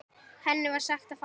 Henni var sagt að fara.